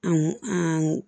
An an